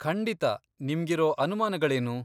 ಖಂಡಿತಾ, ನಿಮ್ಗಿರೋ ಅನಮಾನಗಳೇನು?